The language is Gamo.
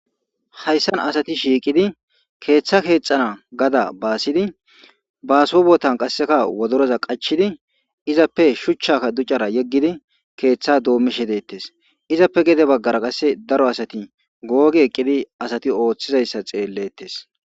Haysani asati shiqid keetha kexana gada baasidi,baaso bootani qaseka wodoroza qachidi izappe shuchaka ducara yegidi keetha doomishe detesi, izappe gede bagara qase daro asati googi eqidi asati oothizaysa xeeletesi.